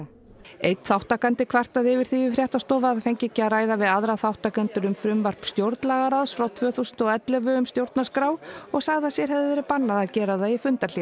einn þátttakandi kvartaði yfir því við fréttastofu að hann fengi ekki að ræða við aðra þátttakendur um frumvarp stjórnlagaráðs frá tvö þúsund og ellefu um stjórnarskrá og sagði að sér hefði verið bannað að gera það í